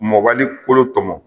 Mɔbali kolo tɔmɔ.